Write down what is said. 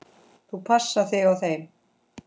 Þú passar þig á þeim.